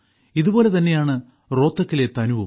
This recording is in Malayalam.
ഇതേപോലെ തന്നെയാണ് റോഹ്തക്കിലെ തനുവും